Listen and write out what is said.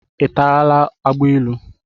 Ị tarala agbailu?